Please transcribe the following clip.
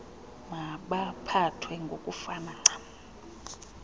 mabaphathwe ngokufana ncam